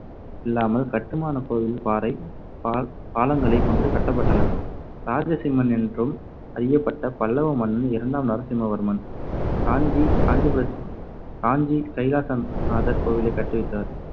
இல்லாமல் கட்டுமானக் கோவில் பாறைப் பா~ பாளங்களைக் கொண்டு கட்டப்பட்டன. ராஜசிம்மன் என்றும் அறியப்பட்ட பல்லவ மன்னன் இரண்டாம் நரசிம்மவர்மன் காஞ்சி காஞ்சிபுரத்தில் காஞ்சி கைலாசநாதர் கோவிலைக் கட்டுவித்தார்.